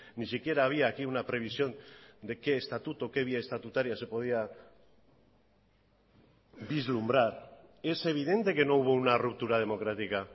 ni siquiera había aquí una previsión de qué estatuto qué vía estatutaria se podía vislumbrar es evidente que no hubo una ruptura democrática